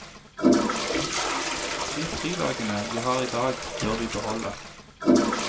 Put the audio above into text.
De fridagene vi har i dag, bør vi beholde.